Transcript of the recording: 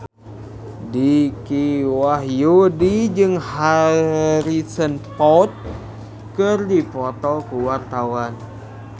Dicky Wahyudi jeung Harrison Ford keur dipoto ku wartawan